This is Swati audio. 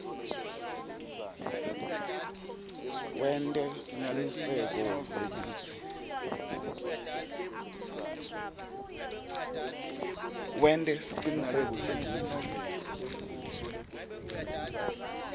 wente siciniseko sekutsi